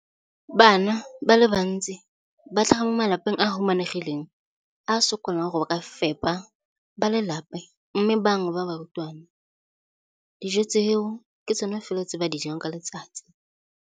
Bana ba le bantsi ba tlhaga mo malapeng a a humanegileng a a sokolang go ka fepa ba lelapa mme ba bangwe ba barutwana, dijo tseo ke tsona fela tse ba di jang ka letsatsi.